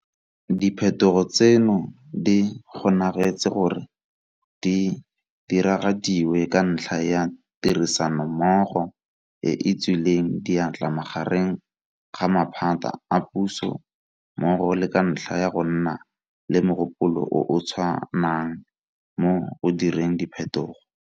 Diphetogo tseno di kgonagetse gore di diragadiwe ka ntlha ya tirisanommogo e e tswileng diatla magareng ga maphata a puso mmogo le ka ntlha ya go nna le mogopolo o o tshwanang mo go direng diphetogo.